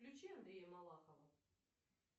включи андрея малахова